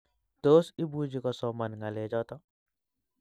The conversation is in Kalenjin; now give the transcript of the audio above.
Tos, imuchi kosoman ngalechoto?